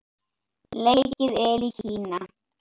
Leikið er í Kína.